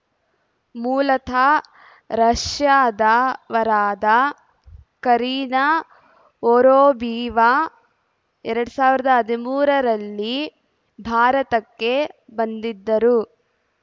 ಮೂಲತಃ ರಷ್ಯಾದವರಾದ Karina Vorobyova ಎರಡ್ ಸಾವಿರದ ಹದಿಮೂರರಲ್ಲಿ ಭಾರತಕ್ಕೆ ಬಂದಿದ್ದರು